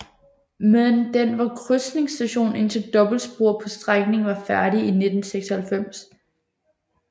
Men den var krydsningsstation indtil dobbeltsporet på strækningen var færdigt i 1996